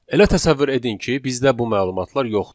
Elə təsəvvür edin ki, bizdə bu məlumatlar yoxdur.